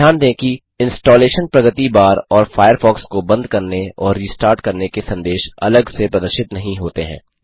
ध्यान दें कि इंस्टालेशन प्रगति बार और फ़ायरफ़ॉक्स को बंद करने और रीस्टार्ट करने के संदेश अलग से प्रदर्शित नहीं होते हैं